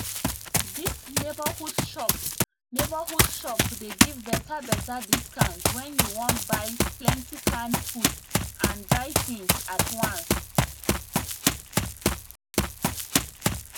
dis neighborhood shop neighborhood shop dey give betterbetter discount when you buy plenty canned food and dry things at once